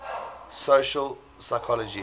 social psychology